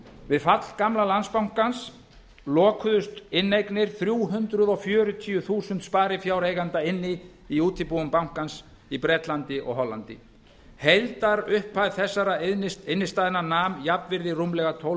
við fall gamla landsbankans lokuðust inneignir þrjú hundruð fjörutíu þúsund sparifjáreigenda inni í útibúum bankans í bretlandi og hollandi heildarupphæð þessara innstæðna nam jafnvirði rúmlega tólf